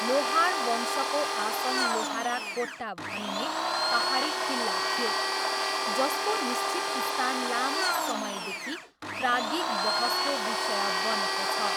लोहार वंशको आसन लोहाराकोट्टा भनिने पाहाडी किल्ला थियो, जसको निश्चित स्थान लामो समयदेखि प्राज्ञिक बहसको विषय बनेको छ।